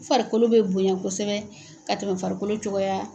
U farikolo bɛ bonɲa kosɛbɛ ka tɛmɛ farikolo cogoya